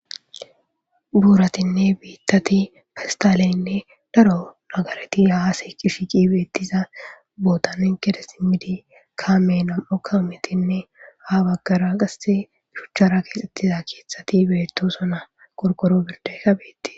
buuratinne biittati fistaaleynne daro nagareti haase qishiqi beettiza bootanen kede simmidi kaame nam7o kaametinne ha baggara qasse shuchchara keexettiza keeththati beettosona korkoro birdekka beetti